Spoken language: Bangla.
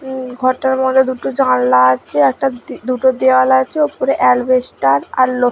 হম ঘরটার মধ্যে দুটো জানলা আছে একটা দুটো দেওয়াল আছে ওপরে অ্যালবেস্টের আর লো --